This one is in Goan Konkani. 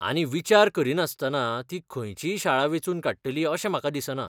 आनी विचार करिनासतना तीं खंयचीय शाळा वेंचून काडटलीं अशें म्हाका दिसना.